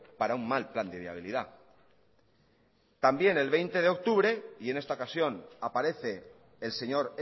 para un mal plan de viabilidad también el veinte de octubre y en esta ocasión aparece el señor